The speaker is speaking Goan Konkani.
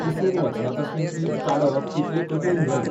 पुसून वचना तसलें तींत काडप तितलें कठीण न्हय.